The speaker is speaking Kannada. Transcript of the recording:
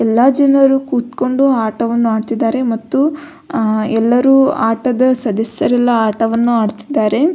ಎಲ್ಲ ಜನರು ಕುತ್ಕೊಂಡು ಆಟವನ್ನು ಆಡ್ತಿದ್ದಾರೆ ಮತ್ತು ಎಲ್ಲರು ಆಟದ ಸದಸ್ಯರೆಲ್ಲ ಆಟವನ್ನು ಆಡ್ತಿದ್ದಾರೆ.